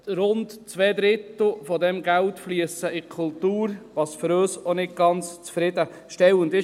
Rund zwei Drittel dieses Geldes fliessen in die Kultur, was für uns auch nicht ganz zufriedenstellend ist.